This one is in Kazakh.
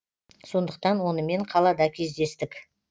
сондықтан онымен қалада кездестік